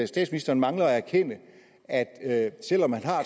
statsministeren mangler at erkende at selv om man har